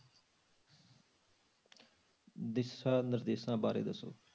ਦਿਸ਼ਾ ਨਿਰਦੇਸ਼ਾਂ ਬਾਰੇ ਦੱਸੋ।